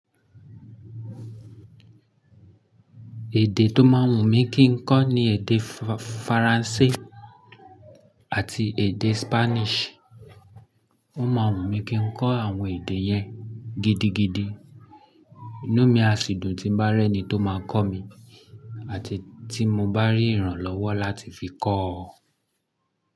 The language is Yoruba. Èdè tó má wùn mí kí n kọ́ ni èdè Faransé àti èdè Spanish. Wọ́n má wùn mí kí n kọ́ àwọn èdè yẹn gidigidi. Inumi àsìdùn tí ń bá ri eni tó máa kọ́ mi àti tí mo bá rí ìrànlọ́wọ́ láti fi kọ́